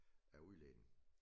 Af udledning